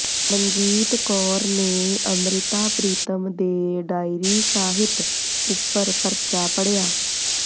ਮਨਜੀਤ ਕੌਰ ਨੇ ਅੰਮ੍ਰਿਤਾ ਪ੍ਰੀਤਮ ਦੇ ਡਾਇਰੀ ਸਾਹਿਤ ਉਪਰ ਪਰਚਾ ਪੜ੍ਹਿਆ